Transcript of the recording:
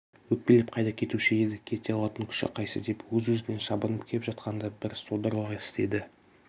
өкпелеп қайда кетуші еді кете алатын күші қайсы деп өз-өзінен шабынып кеп жақында бір содырлық істеді